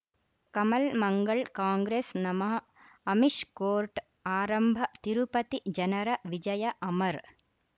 Kamal Mangal Congress ನಮಃ Amish court ಆರಂಭ ತಿರುಪತಿ ಜನರ ವಿಜಯ ಅಮರ್